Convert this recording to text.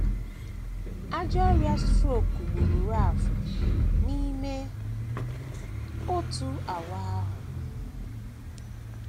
Ajọ ọrịa strok gburu Ralph n’ime otu awa ahụ um. um